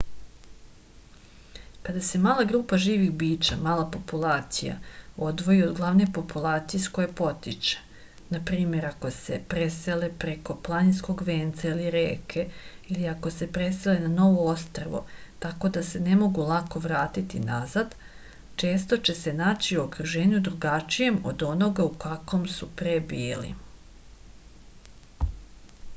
када се мала група живих бића мала популација одвоји од главне популације из које потиче на пример ако се преселе преко планинског венца или реке или ако се преселе на ново острво тако да се не могу лако вратити назад често ће се наћи у окружењу другачијем од онога у каквом су пре били